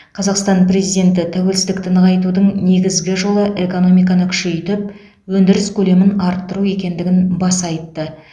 қазақстан президенті тәуелсіздікті нығайтудың негізгі жолы экономиканы күшейтіп өндіріс көлемін арттыру екендігін баса айтты